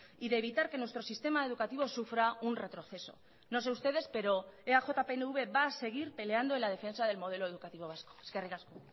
y de evitar que nuestro sistema educativo sufra un retroceso no sé ustedes pero eaj pnv va a seguir peleando en la defensa del modelo educativo vasco eskerrik asko